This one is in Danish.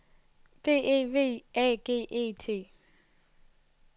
B E V Æ G E T